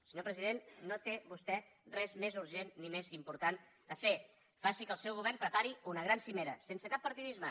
senyor president no té vostè res més urgent ni més important a fer faci que el seu govern prepari una gran cimera sense cap partidisme